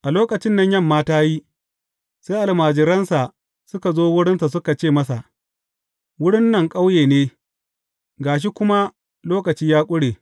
A lokacin nan yamma ta yi, sai almajiransa suka zo wurinsa suka ce masa, Wurin nan ƙauye ne, ga shi kuma lokaci ya ƙure.